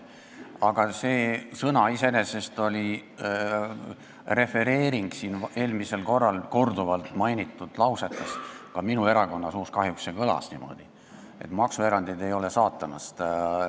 Aga see sõna iseenesest oli pärit siin eelmisel korral korduvalt öeldud lausest – ka minu erakonna liikmete suust see kahjuks kõlas –, et maksuerandid ei ole saatanast.